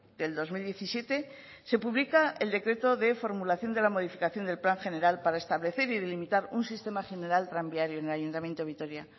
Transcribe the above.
del dos mil diecisiete se publica el decreto de formulación de la modificación del plan general para establecer y delimitar un sistema general tranviario en el ayuntamiento de vitoria